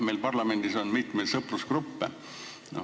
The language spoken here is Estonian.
Meil parlamendis on mitmeid sõprusgruppe.